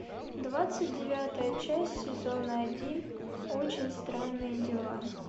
двадцать девятая часть сезона один очень странные дела